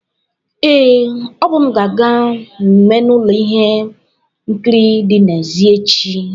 Ee, Obum ga-aga mmemme na ụlọ ihe nkiri dị n'èzí echi.